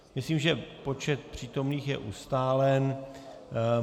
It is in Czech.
Myslím, že počet přítomných je ustálen.